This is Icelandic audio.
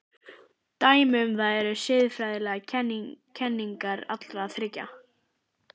Dæmi um það eru siðfræðilegar kenningar allra þriggja.